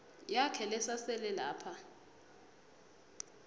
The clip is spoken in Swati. yakhe lesasele lapha